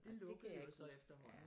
Det kan jeg ikke huske